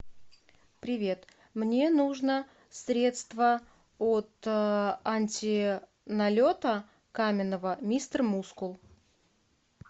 привет мне нужно средство от анти налета каменного мистер мускул